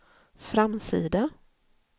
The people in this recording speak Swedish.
framsida